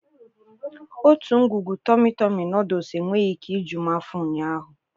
Otu ngwugwu tọmị tọmị nọọdụs enweghị ike ju m afọ ụnyaahụ.